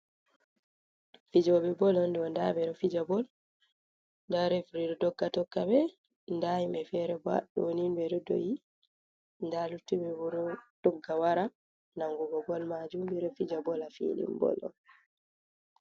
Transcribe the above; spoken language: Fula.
Fijooɓe bol on ɗo, nda ɓe ɗo fija bol nda fefri ɗo dogga tokka ɓe, nda himɓe fere bo haaɗo ɓeɗo do'i, nda luttuɓe ɓe ɓo dogga wara nangugo bol maajum, ɓe ɗo fija bol haa filin bol on.